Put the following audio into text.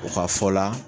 U ka fɔ la